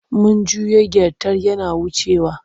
Mun jiyo gyartai yana wucewa.